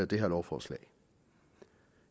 det her lovforslag